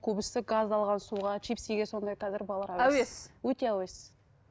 көбісі газдалған суға чипсиге сондай қазір балалар әуес өте әуес